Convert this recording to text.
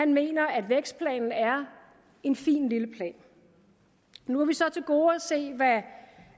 mener at vækstplanen er en fin lille plan nu har vi så til gode at se hvad